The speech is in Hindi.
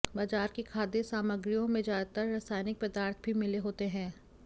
बाजार की खाद्य सामग्रियों में ज्यादातर रसायनिक पदार्थ भी मिले होते हैं